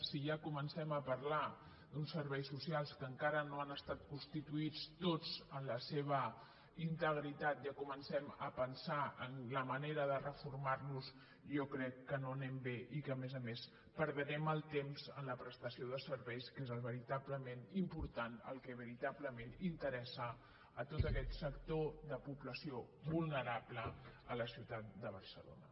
si ja comencem a parlar d’uns serveis socials que encara no han estat consti·tuïts tots en la seva integritat ja comencem a pensar en la manera de reformar·los jo crec que no anem bé i que a més a més perdrem el temps en la prestació de serveis que és el veritablement important el que veritablement interessa a tot aquest sector de població vulnerable a la ciutat de barcelona